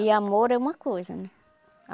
E amor é uma coisa, né?